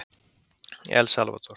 El Salvador